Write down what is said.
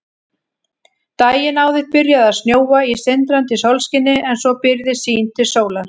Daginn áður byrjaði að snjóa í sindrandi sólskini en svo byrgði sýn til sólar.